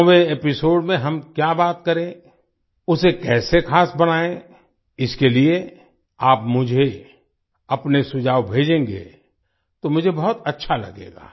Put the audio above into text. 100वें episode में हम क्या बात करें उसे कैसे खास बनायें इसके लिए आप मुझे अपने सुझाव भेजेंगे तो मुझे बहुत अच्छा लगेगा